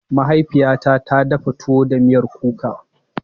Mahaifiyata ta dafa tuwo da miyar kuka.